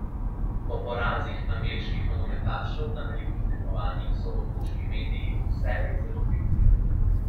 Po porazih angleških nogometašev na velikih tekmovanjih so otoški mediji vselej zelo pikri.